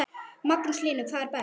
Magnús Hlynur: Hvað er best?